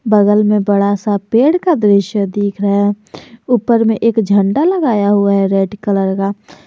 बगल में बड़ा सा पेड़ का दृश्य देख रहा है ऊपर में एक झंडा लगाया हुआ है रेड कलर का।